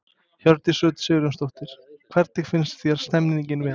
Hjördís Rut Sigurjónsdóttir: Hvernig finnst þér stemningin vera?